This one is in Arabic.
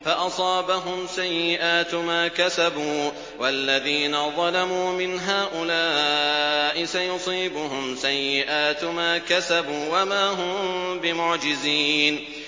فَأَصَابَهُمْ سَيِّئَاتُ مَا كَسَبُوا ۚ وَالَّذِينَ ظَلَمُوا مِنْ هَٰؤُلَاءِ سَيُصِيبُهُمْ سَيِّئَاتُ مَا كَسَبُوا وَمَا هُم بِمُعْجِزِينَ